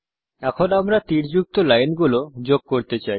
এখন আমরা তীরযুক্ত লাইন গুলো যোগ করতে চাই